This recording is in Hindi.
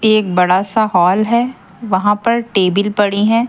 एक बड़ा सा हॉल है वहां पर टेबिल पड़ी है।